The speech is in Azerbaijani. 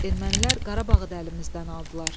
Ermənilər Qarabağı da əlimizdən aldılar.